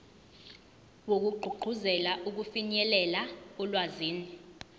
wokugqugquzela ukufinyelela olwazini